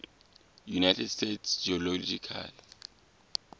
united states geological